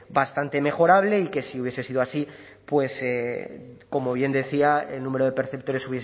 bastante mejorable y que si hubiese sido así pues como bien decía el número de perceptores